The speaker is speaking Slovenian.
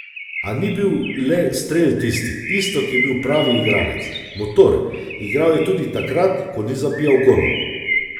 A ni bil le strel tisti, Iztok je bil pravi igralec, motor, igral je tudi takrat, ko ni zabijal golov.